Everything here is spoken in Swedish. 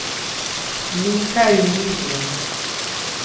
Mikael Norgren